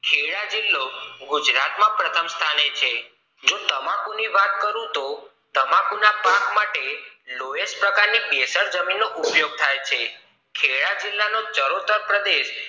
ખેડા જિલ્લો ગુજરાત માં પ્રથમ સ્થાને છે તમાકુના પાક માટે લોયસ પ્રકાર ની જમીન કેસર જમીન નો ઉપયોગ થાય છે ખેડા જિલ્લા નો ચરોતર પ્રદેશ